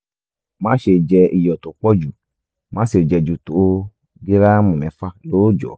máṣe jẹ iyọ̀ tó pọ̀ jù máṣe jẹ ju tó gíráàmù mẹ́fà lóòjọ́